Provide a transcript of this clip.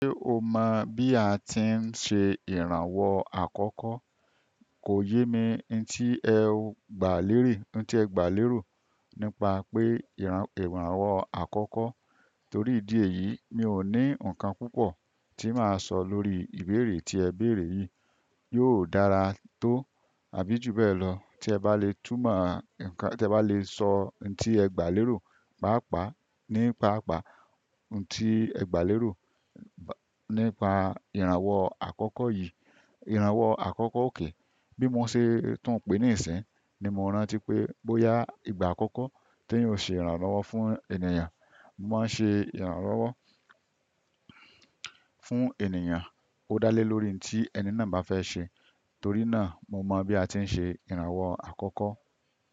Ṣé o mọ̀ bí a ti ń ṣe ìrànwọ́ àkọ́kọ́? Kò yé mi ní tí ẹ gbà leri- n ti e gba lérò nípa pé ìrànwọ́ àkọ́kọ́. Torí ìdí èyí, mi ò ní ǹkan púpọ̀ tí màá sọ lórí ìbéèrè tí ẹ béèrè yìí. Yóò dára to, àbí ju bẹ́ẹ̀ lo, ti e ba le túmọ̀ nkan, te ba le so n ti e gba lero, papa nípa pàpá ǹ tí ẹ gbà lérò nípa ìrànwọ́ àkọ́kọ́ yìí. Ìrànwọ́ àkọ́kọ́ òkay, bí mo ṣe tún ń pè ní ìṣìnyi, ni mo rántí pé bóyá ìgbà àkọ́kọ́ t'eeyan o ṣe ìrànlọ́wọ́ fún ènìyàn, mo maa n ṣe ìrànlọ́wọ́ fún ènìyàn. Ó dálé lórí ǹ tí ẹni náà bá fẹ́ ṣe. Torí náà mo mọ̀ bí a ti ń ṣe ìrànwọ́ àkọ́kọ́.